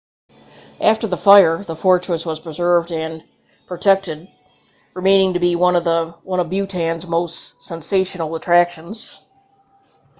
after the fire the fortress was preserved and protected remaining to be one of bhutan's most sensational attractions